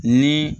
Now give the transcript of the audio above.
Ni